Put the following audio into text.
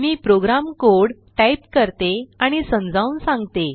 मी program code type करते आणि समजावून सांगते